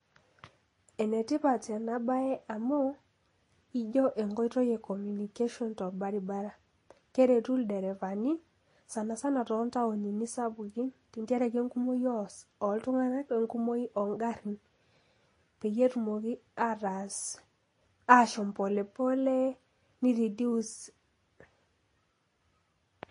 Enetipat enabae Amuu, ijo enkoitoi ee Communication tolbarbara keretu ilderevani sanasana toontowni sapukin, injere kekukom iltung'anak ongarin petumoki ashom akiti pei reduce .